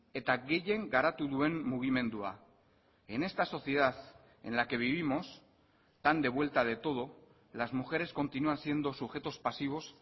eta gehien garatu duen mugimendua en esta sociedad en la que vivimos tan de vuelta de todo las mujeres continúan siendo sujetos pasivos